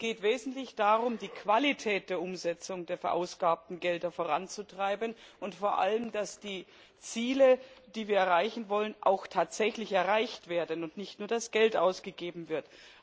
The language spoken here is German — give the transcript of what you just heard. Es geht im Wesentlichen darum, die Qualität der Umsetzung der verwendeten Gelder voranzutreiben und vor allem darum, dass die Ziele, die wir erreichen wollen, auch tatsächlich erreicht werden und nicht nur das Geld ausgegeben wird.